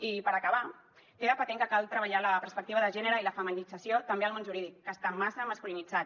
i per acabar queda patent que cal treballar la perspectiva de gènere i la feminització també al món jurídic que està massa masculinitzat